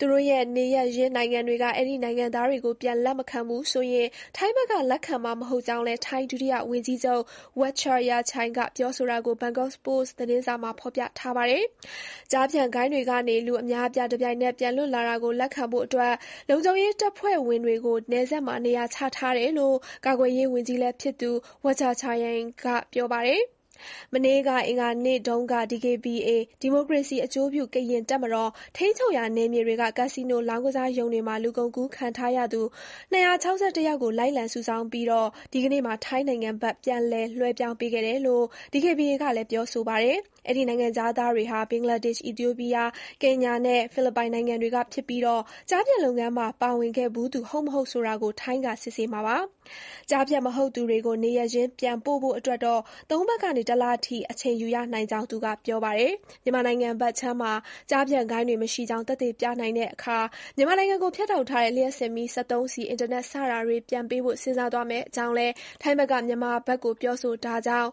သူတို့ရဲ့ နေရပ်ရင်းနိုင်ငံတွေက အဲဒီနိုင်ငံသားတွေကို ပြန်လက်မခံဘူးဆိုရင် ထိုင်းဘက်က လက်ခံမှာမဟုတ်ကြောင်းလည်း Wechayachai က ပြောတာကို ဘန်ကောက်ပို့စ် သတင်းစာမှာ ဖေါ်ပြထားပါတယ်။ ကျားဖြန့်ဂိုဏ်း တွေကနေ လူအများအပြား တပြိုင်တည်းပြန်လွတ်လာတာကိုလက်ခံဖို့ လုံခြုံရေးတပ်ဖွဲ့ဝင်တွေကို နယ်စပ်မှာနေရာချထားတယ်လို့ ကာကွယ်ရေးဝန်ကြီးလည်းဖြစ်သူ Wechayachai က ပြောပါတယ်။ မနေ့က အင်္ဂါနေ့တုန်းက DKBA ဒီမိုကရေစီအကျိုးပြုကရင်တပ်မတော် ထိန်းချုပ်ရာနယ်မြေတွေက ကာစီနိုလောင်းကစားရုံတွေမှာ လူကုန်ကူးခံထားရသူ ၂၆၁ ယောက်ကို လိုက်လံစုဆောင်းပြီး ဒီကနေ့မှာ ထိုင်းနိုင်ငံဘက် ပြန်လည်လွှဲပြောင်းပေးခဲ့တယ်လို့ DKBA ကလည်း ပြောပါတယ်။ အဲဒီနိုင်ငံခြားသားတွေဟာ ဘင်္ဂလားဒေ့ရှ်၊ အီသီယိုးပီးယား၊ ကင်ညာနဲ့ ဖိလစ်ပိုင်နိုင်ငံတွေက ဖြစ်ပြီး ကျားဖြန့်လုပ်ငန်းမှာပါဝင်ခဲ့ဖူးသူ ဟုတ်မဟုတ်ဆိုတာ ထိုင်းကစစ်ဆေးမှာပါ။ ကျားဖြန့် မဟုတ်သူတွေ နေရပ်ရင်း ပြန်ပို့ဖို့အတွက်တော့ သုံးပတ်ကနေတလအထိ အချိန်ယူရနိုင်ကြောင်းသူက ပြောပါတယ်။ မြန်မာနိုင်ငံဘက်ခြမ်းမှာ ကျားဖြန့်ဂိုဏ်းတွေမရှိကြောင်း သက်သေပြနိုင်တဲ့အခါ မြန်မာနိုင်ငံကို ဖြတ် ထားတဲ့ လျှပ်စစ်မီး၊ စက်သုံးဆီ၊ အင်တာနက် စတာတွေပြန်ပေးဖို့ စဥ်းစားသွားမဲ့အကြောင်းလည်း ထိုင်းဘက်က မြန်မာဘက်ကို ပြောထားကြောင်း